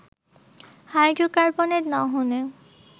হাইড্রোকার্বনের দহনে